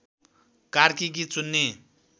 कार्की गीत सुन्ने